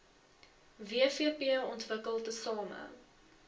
wvp ontwikkel tesame